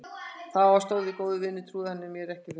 Þó að við séum góðir vinir trúir hann mér ekki fyrir öllu.